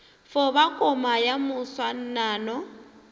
fo ba koma ya moswanano